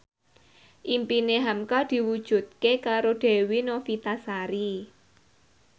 impine hamka diwujudke karo Dewi Novitasari